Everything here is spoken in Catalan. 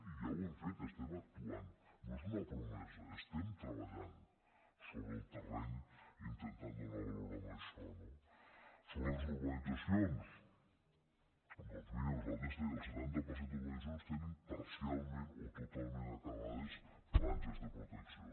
i ja ho hem fet estem actuant no és una promesa estem treballant sobre el terreny intentant donar valor a això no sobre les urbanitzacions doncs miri el setanta per cent de les urbanitzacions tenen parcialment o totalment acabades franges de protecció